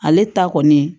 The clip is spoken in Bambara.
Ale ta kɔni